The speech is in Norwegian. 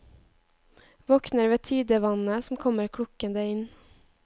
Våkner ved tidevannet som kommer klukkende inn.